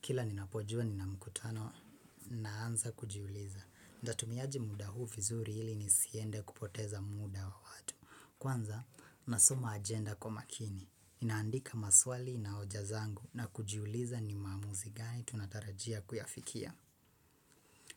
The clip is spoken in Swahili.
Kila nina pojua nina mkutano, naanza kujiuliza. Ndatumiaji muda huu fizuri hili nisiende kupoteza muda wa watu. Kwanza, nasoma agenda kwa makini. Ninaandika maswali na oja zangu na kujiuliza ni maamuzi gani tunatarajia kuyafikia.